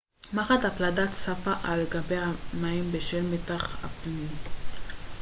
מחט הפלדה צפה על גבי המים בשל מתח הפנים